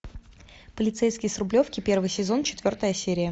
полицейский с рублевки первый сезон четвертая серия